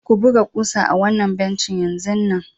Ku buga kusa ah wanna bencin yanzun nan